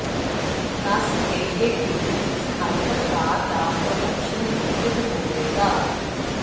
ਦੱਸ ਦੇਈਏ ਕਿ ਇਸ ਹਾਈਪਰ ਕਾਰ ਦਾ ਪ੍ਰੋਡਕਸ਼ਨ ਲਿਮਟਿਡ ਹੋਵੇਗਾ